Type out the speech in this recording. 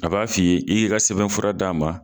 A b'a f'i ye i k'i ka sɛbɛn fura d'a ma